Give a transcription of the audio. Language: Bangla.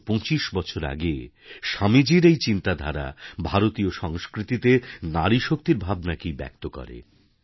একশো পঁচিশ বছর আগে স্বামীজীর এই চিন্তাধারা ভারতীয় সংস্কৃতিতে নারীশক্তির ভাবনাকেই ব্যক্ত করে